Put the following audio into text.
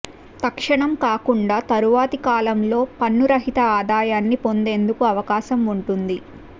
తక్షణం కాకుండా తరువాతి కాలంలో పన్నురహిత ఆదాయాన్ని పొందేందుకు అవకాశం ఉంటుంది